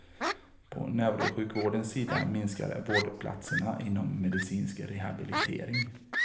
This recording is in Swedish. På neurosjukvårdens sida minskar vårdplatserna inom medicinsk rehabilitering.